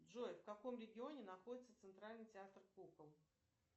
джой в каком регионе находится центральный театр кукол